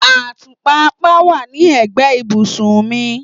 Atupa apá wá ní egbe ibùsùn mì